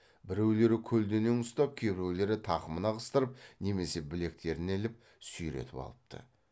біреулері көлденең ұстап кейбіреулері тақымына қыстырып немесе білектеріне іліп сүйретіп алыпты